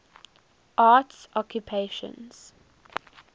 arts occupations